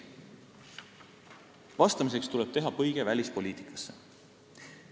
Vastamiseks tuleb teha põige välispoliitikasse.